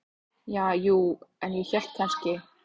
Ja, jú, en ég hélt kannski.